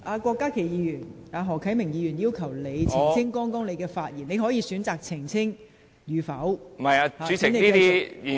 郭家麒議員，何啟明議員要求你澄清剛才的發言，你可以選擇是否澄清。